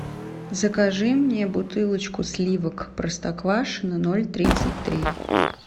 закажи мне бутылочку сливок простоквашино ноль тридцать три